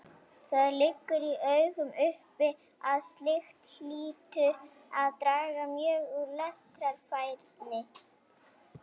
Það liggur í augum uppi að slíkt hlýtur að draga mjög úr lestrarfærni.